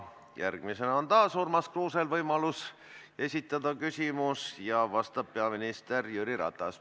Järgmisena on taas Urmas Kruusel võimalus esitada küsimus ja vastab peaminister Jüri Ratas.